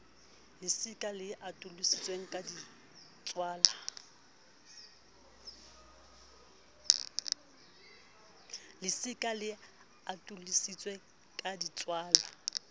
lesika le atolositsweng la ditswala